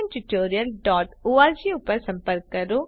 જોડાવા બદ્દલ આભાર